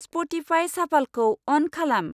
Spotify साफालखौ अन खालाम।